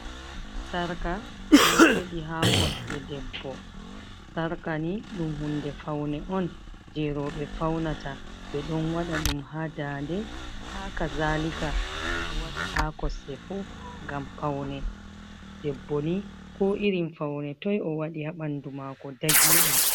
Sarka, ɗon feɗi ha kosɗe debbo, sarka ni ɗum hunde faune on je rewɓe faunata be ɗon waɗa ɗum ha dande, ha kazalika ɓe ɗo waɗa ha kosde fuu ngam paune, debbo ni ko irin faune toi o waɗi ha ɓandu mako dagi ɗum.